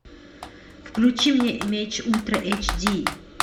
включи мне меч ультра эйч ди